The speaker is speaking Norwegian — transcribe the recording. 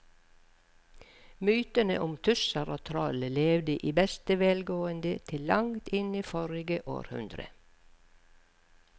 Mytene om tusser og troll levde i beste velgående til langt inn i forrige århundre.